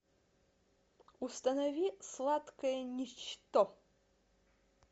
установи сладкое ничто